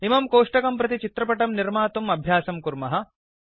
इमं कोष्टकं प्रति चित्रपटं निर्मातुम् अभ्यासं कुर्मः